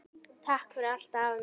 Takk fyrir allt, afi minn.